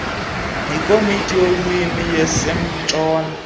yikomiti yeelwimi yasentshona